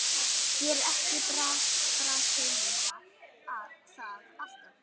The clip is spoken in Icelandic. Gerir ekki Brasilía það alltaf?